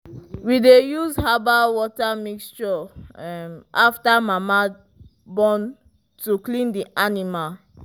we de use herbal water mixture after mama born to clean the animal